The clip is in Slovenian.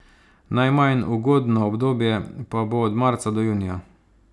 Najmanj ugodno obdobje pa bo od marca do junija.